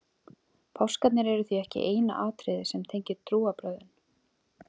Páskarnir eru því ekki eina atriðið sem tengir trúarbrögðin.